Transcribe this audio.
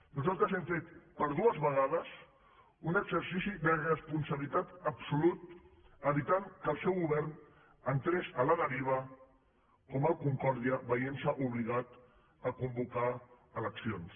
nosaltres hem fet per dues vegades un exercici de responsabilitat absolut evitant que el seu govern entrés a la deriva com el concordia i es veiés obligat a convocar eleccions